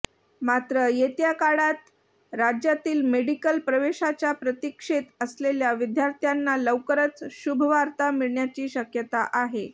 मात्र येत्या काळात राज्यातील मेडिकल प्रवेशाच्या प्रतीक्षेत असलेल्या विद्यार्थ्यांना लवकरच शुभवार्ता मिळण्याची शक्यता आहे